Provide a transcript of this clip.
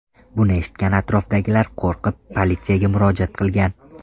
Buni eshitgan atrofdagilar qo‘rqib politsiyaga murojaat qilgan.